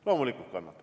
Loomulikult.